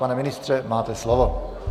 Pane ministře, máte slovo.